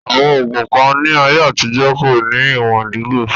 Àwọn ògùn kan ní àyè àtijọ́ kò ní ìwòn lílò